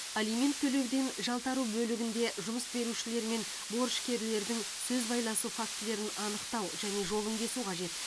алимент төлеуден жалтару бөлігінде жұмыс берушілер мен борышкерлердің сөз байласу фактілерін анықтау және жолын кесу қажет